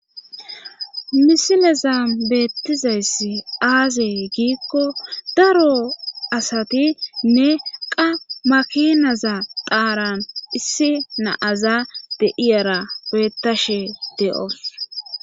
Misileza beettizayssi aazey giikko daro asati nne qa makinaza dhaaran issi naaza deiyara bettashe de'os.